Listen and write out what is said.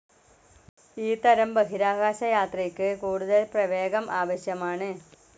ഈ തരം ബഹിരാകാശയാത്രയ്ക്ക് കൂടുതൽ പ്രവേഗം ആവശ്യമാണ്.